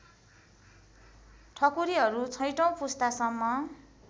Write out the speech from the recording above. ठकुरीहरू छैठौँ पुस्तासम्म